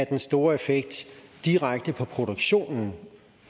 den store effekt direkte på produktionen